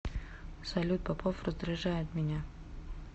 салют попов раздражает меня